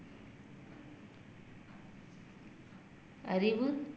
அறிவு